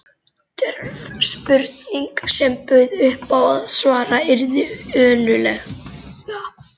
Djörf spurning, sem bauð upp á að svarað yrði önuglega.